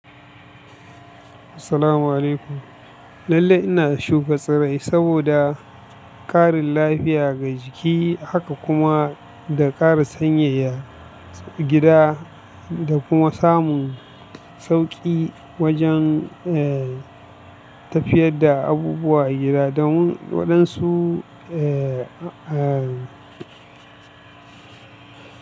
Assalamu'alaikum. Lalle ina shuka tsirrai saboda ƙarin lafiya ga jiki, haka kuma da ƙara sanyaya gida da kuma samun sauƙi wajen, eh, tafiyar da abubuwa a gida domin waɗansu, eh, ah.